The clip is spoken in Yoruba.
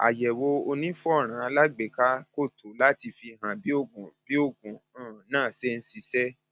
àyẹwò onífọnrán alágbèéká kò tó láti fihàn bí oògùn bí oògùn um náà ṣe ń ṣiṣẹ sí